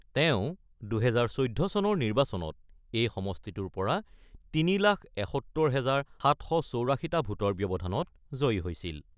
তেওঁ ২০১৪ চনৰ নিৰ্বাচনত এই সমষ্টিটোৰ পৰা ৩ লাখ ৭১ হাজাৰ ৭৮৪ টা ভোটৰ ব্যৱধানত জয়ী হৈছিল।